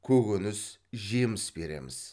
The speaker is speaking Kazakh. көкөніс жеміс береміз